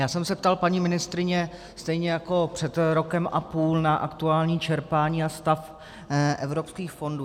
Já jsem se ptal paní ministryně, stejně jako před rokem a půl, na aktuální čerpání a stav evropských fondů.